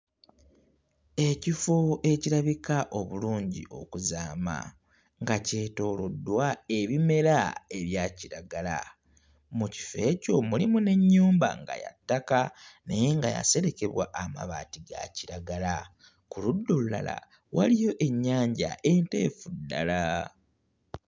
Ekifo ekirabika obulungi okuzaama nga kyetooloddwa ebimera ebya kiragala. Mu kifo ekyo mulimu n'ennyumba nga ya ttaka naye nga yaserekebwa amabaati ga kiragala. Ku ludda olulala waliyo ennyanja enteefu ddala.